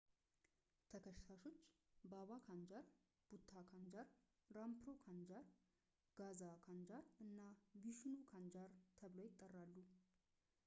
ተከሳሾች ባባ ካንጃር ቡታ ካንጃር ራምፕሮ ካንጃር ጋዛ ካንጃር እና ቪሽኑ ካንጃር ተብለው ይጠራሉ